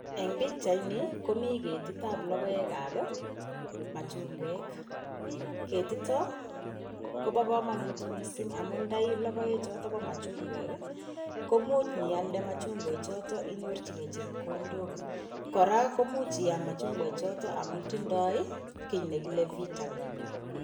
Eng' pichaini, komiiketit ab logoek ab, machungwek . Ketito kobo komonut . Logoechuto bo machungwek ko much nialde machungwek choton inyorchikei chepkondok. Kora, imuch iam machungwek choton amun tindoi kii nekile vitamin.